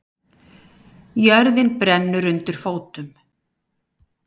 Jörðin brennur undir fótum